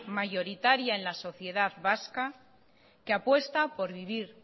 mayoritaria en la sociedad vasca que apuesta por vivir